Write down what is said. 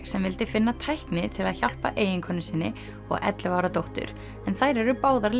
sem vildi finna tækni til að hjálpa eiginkonu sinni og ellefu ára dóttur en þær eru báðar